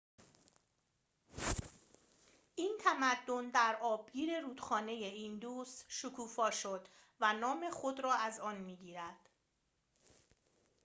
این تمدن در آبگیر رودخانه ایندوس شکوفا شد و نام خود را از آن می‌گیرد